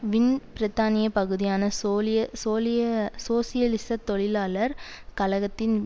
win பிரித்தானிய பகுதியான சோலிய சோலிய சோசியலிச தொழிலாளர் கழகத்தின்